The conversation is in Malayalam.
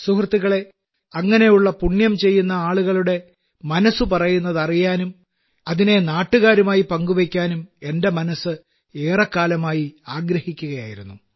സുഹൃത്തുക്കളേ അങ്ങനെയുള്ള പുണ്യം ചെയ്യുന്നയാളുകളുടെ മനസ്സു പറയുന്നത് അറിയാനും അതിനെ നാട്ടുകാരുമായി പങ്കുവെയ്ക്കാനും എന്റെ മനസ്സ് ഏറെക്കാലമായി ആഗ്രഹിക്കുകയായിരുന്നു